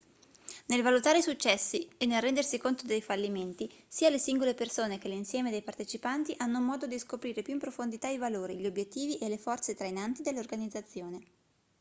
nel valutare i successi e nel rendersi conto dei fallimenti sia le singole persone che l'insieme dei partecipanti hanno modo di scoprire più in profondità i valori gli obiettivi e le forze trainanti dell'organizzazione